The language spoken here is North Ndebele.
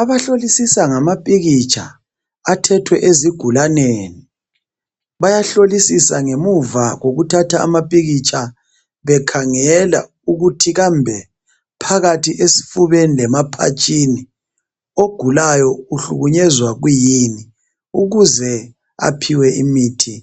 Abahlolisisa ngamapikitsha athethwe ezigulaneni bayahlolisisa ngemuva kokuthatha amapikitsha bekhangela ukuthi kambe phakathi esifubeni lemaphatshini ogulayo uhlukunyezwa yikuyini ukuze aphiwe imithi